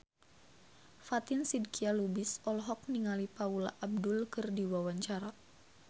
Fatin Shidqia Lubis olohok ningali Paula Abdul keur diwawancara